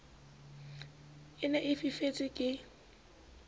e ne e fifetse ke